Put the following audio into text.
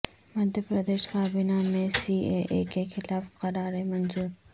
مدھیہ پردیش کابینہ میں C A A کیخلاف قراراد منظور